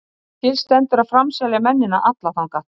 Til stendur að framselja mennina alla þangað.